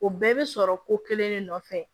O bɛɛ bɛ sɔrɔ ko kelen de nɔfɛ